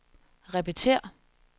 repetér